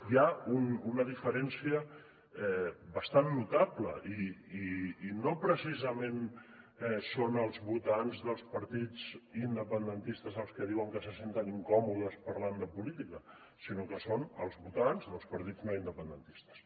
hi ha una diferència bastant notable i no precisament són els votants dels partits independentistes els que diuen que se senten incòmodes parlant de política sinó que són els votants dels partits no independentistes